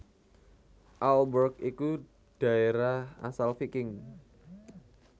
Aalborg iku dhaérah asal Viking